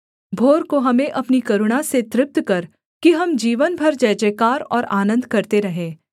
भोर को हमें अपनी करुणा से तृप्त कर कि हम जीवन भर जयजयकार और आनन्द करते रहें